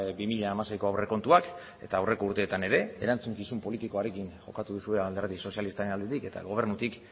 bi mila hamaseiko aurrekontuak eta aurreko urteetan ere erantzukizun politikoarekin jokatu duzue alderdi sozialistaren aldetik eta gobernutik